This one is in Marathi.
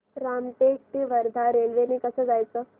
रामटेक ते वर्धा रेल्वे ने कसं जायचं